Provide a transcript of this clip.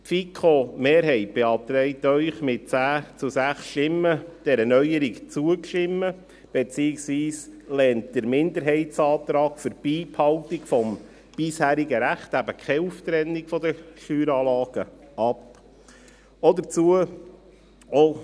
Die FiKo-Mehrheit beantragt Ihnen mit 10 zu 6 Stimmen, dieser Neuerung zuzustimmen, beziehungsweise lehnt den Minderheitsantrag für die Beibehaltung des bisherigen Rechts – eben keine Auftrennung der Steueranlagen – ab.